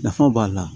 Nafa b'a la